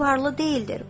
O qız varlı deyildir.